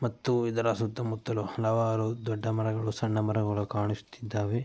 ಮತ್ತು ಇದರ ಸುತ್ತ ಮುತ್ತಲು ಹಲವಾರು ದೊಡ್ಡ ಮರಗಳು ಸಣ್ಣ ಮರಗಳು ಕಾಣಿಸುತ್ತಿದ್ದಾವೆ.